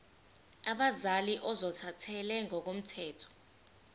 abazali ozothathele ngokomthetho